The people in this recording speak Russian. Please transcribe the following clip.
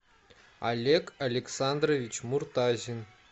олег александрович муртазин